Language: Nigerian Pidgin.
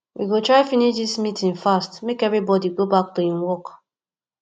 we go try finish dis meeting fast make everybodi go back to im work